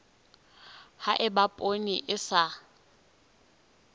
ha eba poone e sa